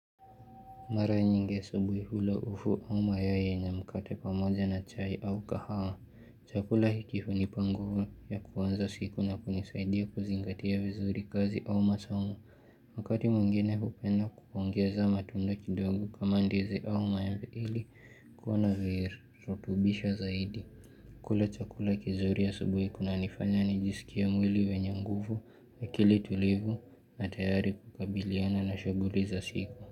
Mara nyingi asubuhi hula ufu au mayai yenye mkate pamoja na chai au kahawa. Chakula hiki hunipanguvu ya kuanza siku na kunisaidia kuzingatia vizuri kazi au masomo. Wakati mwengine hupenda kuongeza matunda kidogo kama ndizi au maemebe mili kuwa virotubisha zaidi. Kula chakula kizuri asubuhi kuna nifanya nijisikie mwili wenye nguvu akili tulivu na tayari kukabiliana na shaguli za siku.